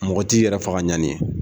Mɔgɔ t'i yɛrɛ faga ɲani ye